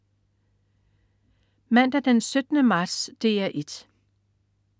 Mandag den 17. marts - DR 1: